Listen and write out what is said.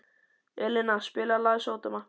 Elíná, spilaðu lagið „Sódóma“.